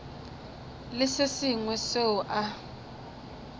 le se sengwe seo a